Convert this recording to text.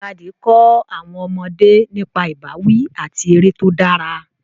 Ìjàkadì kọ́ àwọn ọmọdé nípa ìbáwí àti eré tó dára.